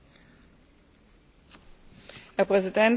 Herr Präsident, Frau Kommissarin, Herr Minister!